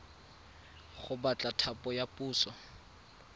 go batla thapo ya puso